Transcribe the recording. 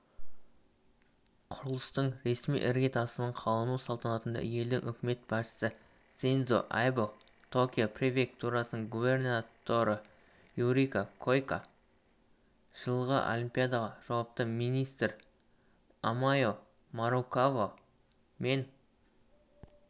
құрылыстың ресми іргетасының қалану салтанатына елдің үкімет басшысысиндзо абэ токио префектурасының губернаторыюрико коикэ жылғы олимпиадаға жауапты министртамае марукава мен құрылыс архитекторы